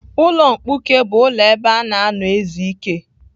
Ulo mkpuke bụ ụlọ ebe a na-anọ ezu ike.